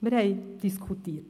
Wir haben diskutiert.